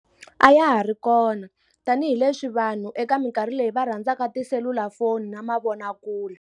A ya ha ri kona tanihileswi vanhu eka minkarhi leyi va rhandzaka tiselulafoni na mavonakule.